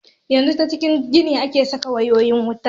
Yanzu ta cikin gini ake saka wayoyin wuta.